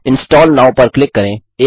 install now पर click करें